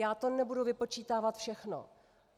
Já to nebudu vypočítávat všechno.